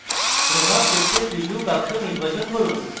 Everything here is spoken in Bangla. প্রভাব দেখতে preview box নির্বাচন করুন